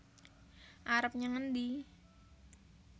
arep nyang endi